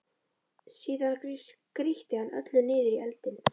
Síðan grýtti hann öllu niður í eldinn.